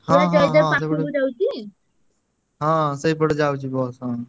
ହଁ ହଁ ସେଇପଟେ ଯାଉଚି bus ହଁ।